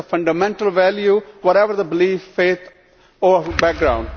This is a fundamental value whatever the belief, faith or background.